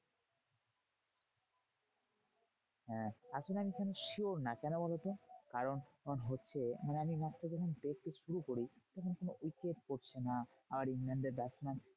আসলে আমি খানিক sure না, কেন বলতো? কারণ হচ্ছে মানে আমি match টা যখন দেখতে শুরু করি, তখন কোনো wicket পড়ছে না। আর ইংল্যান্ডের batsman